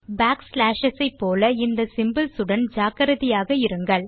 back slashes போல இந்த symbols உடன் ஜாக்கிரதையாக இருங்கள்